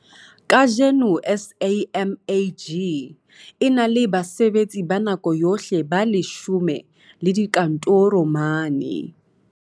Kajeno SAMAG e na le basebetsi ba nako yohle ba 10 le dikantoro mane